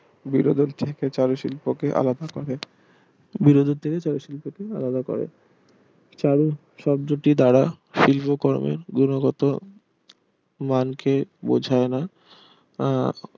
শিল্পকে আলাদা করে শিল্পকে আলাদা করে, চারু শব্দটির দ্বারা শিল্প কর্মের গুণগত মানকে বোঝায় না আহ